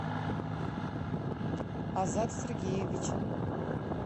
азат сергеевич